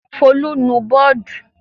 Folú nu bọ́ọ́dù!